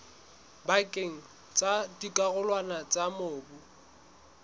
pakeng tsa dikarolwana tsa mobu